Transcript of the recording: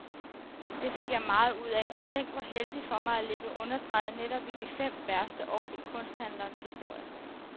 Det fik jeg meget ud af, og tænk hvor heldigt for mig at ligge underdrejet netop i de fem værste år i kunsthandlens historie.